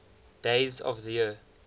days of the year